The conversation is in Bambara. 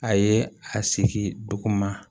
A ye a segin duguma